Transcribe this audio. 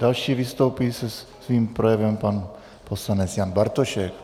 Další vystoupí se svým projevem pan poslanec Jan Bartošek.